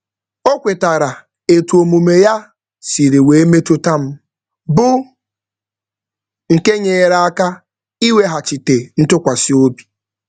O kwetara etu omume ya siri wee metụta m, bụ nke nyere aka ịweghachite ntụkwasịobi.